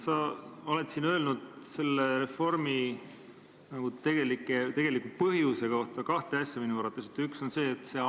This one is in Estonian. Sa oled siin seda reformi põhjendanud minu arvates kahe asjaga.